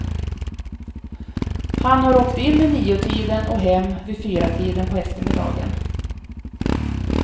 Han har åkt in vid niotiden och hem vid fyratiden på eftermiddagen.